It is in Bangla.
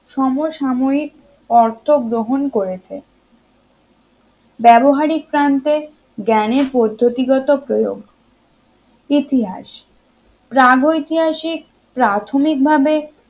সম সাময়িক অর্থ গ্রহণ করেছে ব্যবহারিক প্রান্তে জ্ঞানের পদ্ধতিগত প্রয়োগ ইতিহাস প্রাগৈতিহাসিক প্রাথমিকভাবে